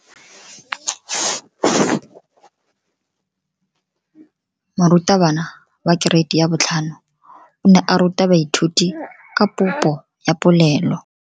Moratabana wa kereiti ya 5 o ne a ruta baithuti ka popo ya polelo.